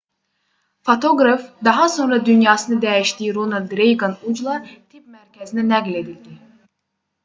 fotoqraf daha sonra dünyasını dəyişdiyi ronald reyqan ucla tibb mərkəzinə nəql edildi